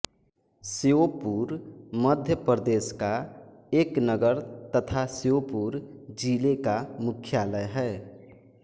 श्योपुर मध्य प्रदेश का एक नगर तथा श्योपुर जिले का मुख्यालय है